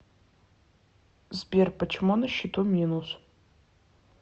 сбер почему на счету минус